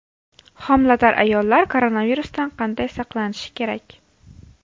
Homilador ayollar koronavirusdan qanday saqlanishi kerak?